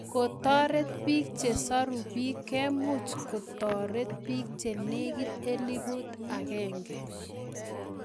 Kotoret piik che soru piik keemuch kotoret piik che negit elipuut agenge